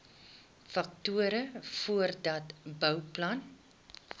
faktore voordat bouplanne